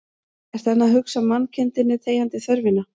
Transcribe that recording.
Ertu enn að hugsa mannkindinni þegjandi þörfina